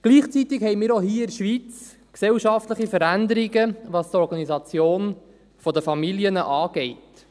Gleichzeitig haben wir auch hier in der Schweiz gesellschaftliche Veränderungen, was die Organisation der Familien anbelangt.